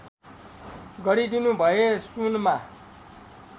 गरिदिनु भए सुनमा